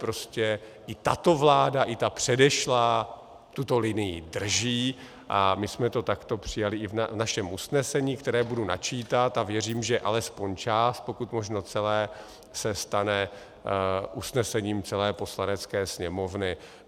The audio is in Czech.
Prostě i tato vláda i ta předešlá tuto linii drží a my jsme to takto přijali i v našem usnesení, které budu načítat, a věřím, že alespoň část, pokud možno celé se stane usnesením celé Poslanecké sněmovny.